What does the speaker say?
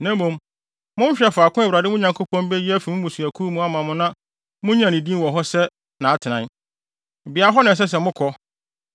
Na mmom, monhwehwɛ faako a Awurade, mo Nyankopɔn, beyi afi mo mmusuakuw mu ama mo no na munnyina ne din wɔ hɔ sɛ nʼatenae. Beae hɔ na ɛsɛ sɛ mokɔ.